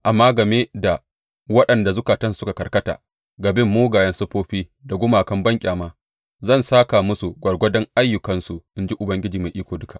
Amma game da waɗanda zukatansu suka karkata ga bin mugayen siffofi da gumakan banƙyama, zan sāka musu gwargwadon ayyukansu, in ji Ubangiji Mai Iko Duka.